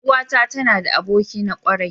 Yar uwata tana da aboki na kwarai.